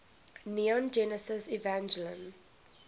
neon genesis evangelion